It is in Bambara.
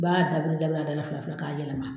b'a dabiri dabiri a da la fila fila k'a yɛlɛma.